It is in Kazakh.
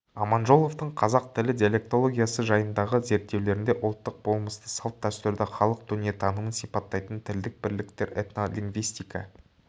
аманжоловтың қазақ тілі диалектологиясы жайындағы зерттеулерінде ұлттық болмысты салт-дәстүрді халық дүниетанымын сипаттайтын тілдік бірліктер этнолингвистика